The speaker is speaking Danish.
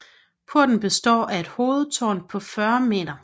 Porten består af et hovedtårn på 40 m